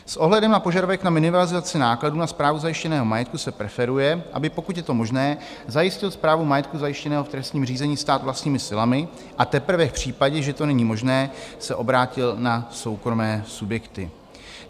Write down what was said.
S ohledem na požadavek na minimalizaci nákladů na správu zajištěného majetku se preferuje, aby, pokud je to možné, zajistil správu majetku zajištěného v trestním řízení stát vlastními silami, a teprve v případě, že to není možné, se obrátil na soukromé subjekty.